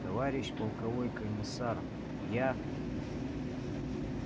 товарищ полковой комиссар я